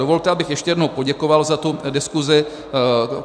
Dovolte, abych ještě jednou poděkoval za tu diskuzi.